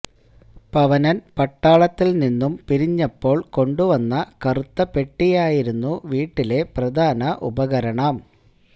പവനന് പട്ടാളത്തില് നിന്നും പിരിഞ്ഞപ്പോള് കൊണ്ടുവന്ന കറുത്തപെട്ടിയായിരുന്നു വീട്ടിലെ പ്രധാന ഉപകരണം